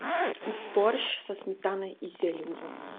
борщ со сметаной и зеленью